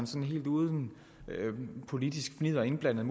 sådan helt uden politisk fnidder og indblanding